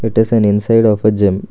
It is an inside of a gym.